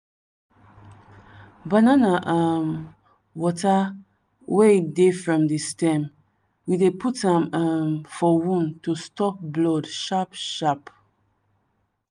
banana um water wey dey from the stem we dey put am um for wound to stop blood sharp sharp.